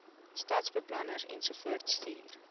stadsbeplanners ensovoorts stuur